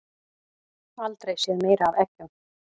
Aldrei séð meira af eggjum